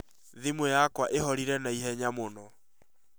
Thimũ yakwa ĩhorire na ihenya mũno